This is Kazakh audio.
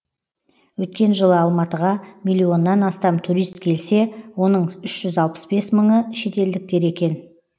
өткен жылы алматыға миллионнан астам турист келсе оның үш жүз алпыс бес мыңы шетелдіктер екен